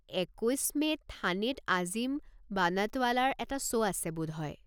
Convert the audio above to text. একৈছ মে'ত থানেত আজিম বানাটৱালাৰ এটা শ্ব' আছে বোধহয়।